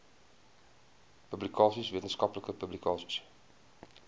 publikasies wetenskaplike publikasies